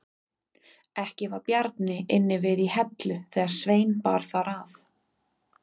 Ekki var Bjarni inni við í Hellu þegar Svein bar þar að.